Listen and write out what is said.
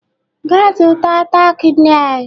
Gaa zụta tack nail!